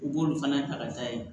U b'olu fana ta ka taa yen